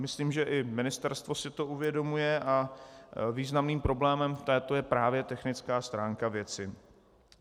Myslím, že i ministerstvo si to uvědomuje, a významným problémem této je právě technická stránka věci.